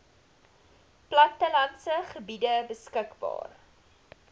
plattelandse gebiede beskikbaar